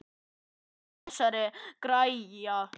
Hvað beið þessara greyja?